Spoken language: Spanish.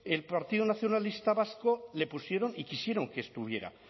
el partido nacionalista vasco le pusieron y quisieron que estuviera